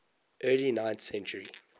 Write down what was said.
early ninth century